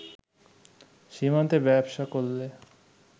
সীমান্তে ব্যবসা করলে